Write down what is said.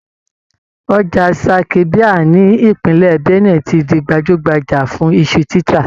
Ọjà Zaki biam ní Ìpínlẹ̀ Benue ti di gbajúgbajà fun iṣu títà.